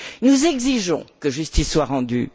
Nous exigeons que justice soit rendue.